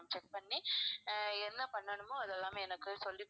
ஆஹ் check பண்ணி என்ன பண்ணனுமோ அது எல்லாமே எனக்கு சொல்லிக்